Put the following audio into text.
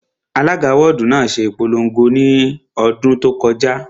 Alága wọ́ọ̀dù náà ṣe ìpolongo ní ọdún tó kọjá